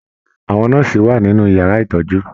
Àwọn nọ́ọ́sì wà nínú yàrá ìtọjú.